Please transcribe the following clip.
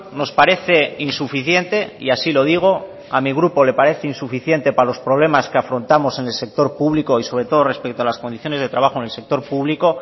nos parece insuficiente y así lo digo a mi grupo le parece insuficiente para los problemas que afrontamos en el sector público y sobre todo respecto en las condiciones de trabajo en el sector público